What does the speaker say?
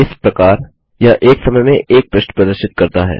इस प्रकार यह एक समय में एक पृष्ठ प्रदर्शित करता है